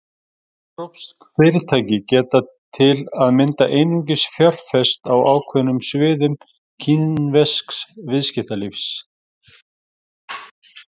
Evrópsk fyrirtæki geta til að mynda einungis fjárfest á ákveðnum sviðum kínversks viðskiptalífs.